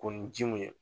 Ko ni ji mun ye